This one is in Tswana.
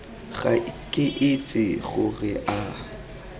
ga ke itse gore a